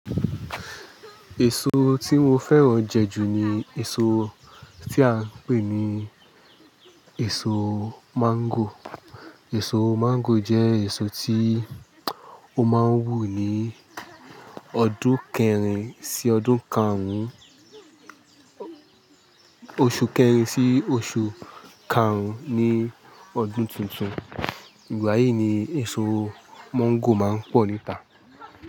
Èso tí mo fẹ́ràn jẹ ju ni èso tí a ń pè ní èso máńgò. Èso máńgò jẹ́ èso tí ó máa ń wù ní ọdún kẹrin sí ọdún karùn-ún, oṣù kẹrin sí oṣù karùn-ún ní ọdún tuntun. Ìgbà yìí ni èso máńgò máa ń pọ̀ níta.